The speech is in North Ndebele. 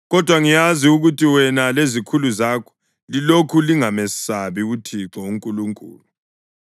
Kodwa ngiyazi ukuthi wena lezikhulu zakho lilokhu lingamesabi uThixo uNkulunkulu.”